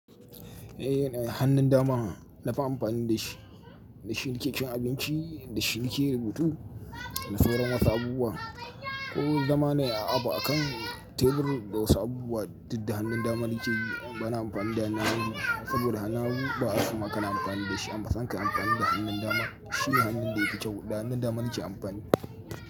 Eh, hannun dama na fi amfani da shi, da shi nikecin abinci, da shi nike rubutu, da sauran wasu abubuwa. Ko zama nai abu akan tebur da wasu abubuwa du da hannun dama nikeyi bana amfani da hannu hagu saboda hannu hagu, ba a soma kana amfani da shi. Anfasan ka yi amfani da hannun dama, shine hannun da ya fi kyau. Da hannun dama nike amfani.